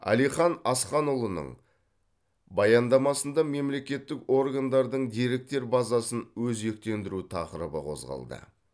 әлихан асханұлының баяндамасында мемлекеттік органдардың деректер базасын өзектендіру тақырыбы қозғалды